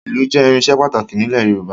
Ìlù jẹ́ irinṣẹ́ pàtàkì nílẹ̀ Yorùbá